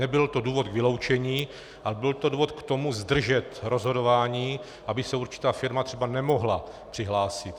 Nebyl to důvod k vyloučení, ale byl to důvod k tomu zdržet rozhodování, aby se určitá firma třeba nemohla přihlásit.